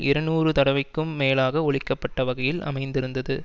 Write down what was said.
இருநூறு தடவைக்கும் மேலாக ஒலிக்கப்பட்ட வகையில் அமைந்திருந்தது